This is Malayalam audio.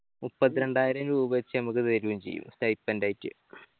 മുപ്പത്ത് രണ്ടായിരം രൂപ വെച്ച് ഞമ്മക്ക് തെരയും ചെയ്യും stipend ആയിട്ട്